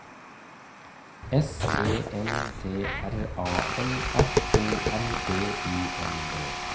S E N T R A L F O R B U N D